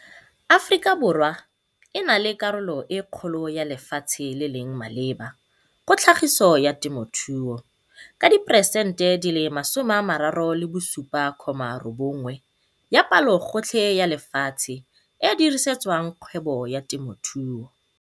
Aforika Borwa e na le karolo e kgolo ya lefatshe le leng maleba go tlhagiso ya temothuo, ka 37,9peresente ya palogotlhe ya lefatshe e dirisetswang kgwebo ka temothuo.